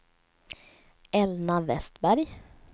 Elna Vestberg